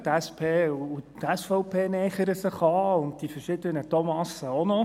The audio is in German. Die SP und die SVP nähern sich an und die verschiedenen Thomasse auch noch.